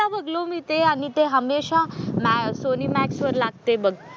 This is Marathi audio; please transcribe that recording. बघलो मी ते आणि ते हमेशा मॅ सोनी मॅक्स वर लागतंय बघ.